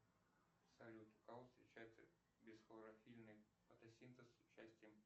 салют у кого встречается бесхлорофильный фотосинтез с участием